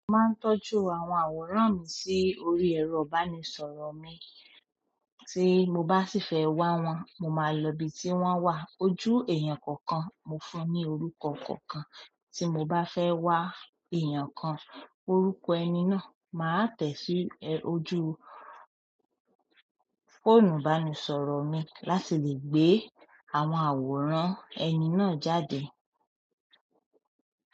Mo máa ń tọ́jú àwọn àwòrán mi sí orí ẹ̀rọ ìbánisọ̀rọ̀ mi. Tí mo bá sì fẹ́ wá wọn, mo máa lọ ibi tí wọ́n wà. Ojú èèyàn kọ̀ọ̀kan, mo fún ní orúkọ kọ̀ọ̀kan, tí mo bá fẹ́ wá èèyàn kan, orúkọ ẹni náà, màá tẹ̀ sí ojú fóònù ìbánisọ̀rọ̀ mi láti lè gbé àwọn àwòrán ẹni náà jáde.